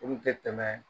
Olu tɛ tɛmɛ